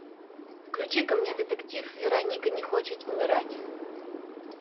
включи ка мне детектив вероника не хочет умирать